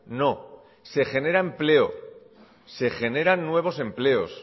no se genera empleo se generan nuevos empleos